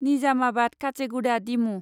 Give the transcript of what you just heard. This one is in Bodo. निजामाबाद काचेगुडा डिमु